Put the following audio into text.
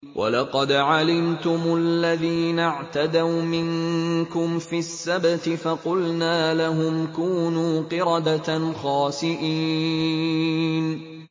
وَلَقَدْ عَلِمْتُمُ الَّذِينَ اعْتَدَوْا مِنكُمْ فِي السَّبْتِ فَقُلْنَا لَهُمْ كُونُوا قِرَدَةً خَاسِئِينَ